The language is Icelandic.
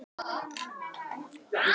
Bergsveina, hvernig er veðurspáin?